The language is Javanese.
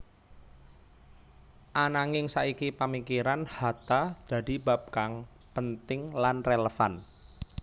Ananging saiki pamikiran Hatta dadi bab kang penting lan relevan